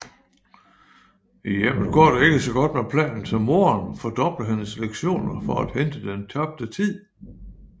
I hjemmet går ikke så godt med planen så moderen fordobler hendes lektioner for at hente den tabte tid